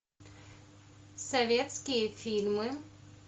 советские фильмы